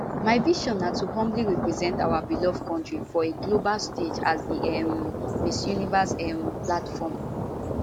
my vision na to humbly represent our beloved kontri for a global stage as di um miss universe um platform